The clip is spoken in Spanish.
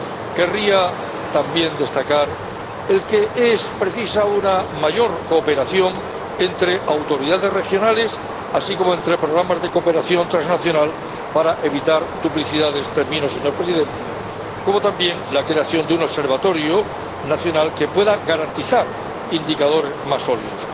Querría también destacar que es precisa una mayor cooperación entre autoridades regionales, así como entre programas de cooperación transnacional, para evitar duplicidades —termino, señor Presidente—, como también la creación de un observatorio nacional que pueda garantizar indicadores más sólidos.